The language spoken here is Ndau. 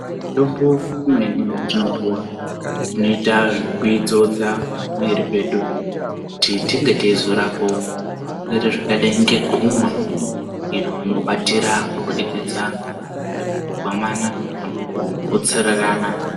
Mitombo imweni yatinopuwa tinoita zvekuidzodza pamwiiri pedu kuti tinge teizorapawo zvirwere zvakadai ngegumwa iro rinobatira kubudikidza ngemukugwamana kana mukukotsorerana.